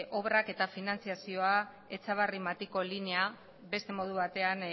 obrak eta finantziazioa etxabarri matiko linea beste modu batean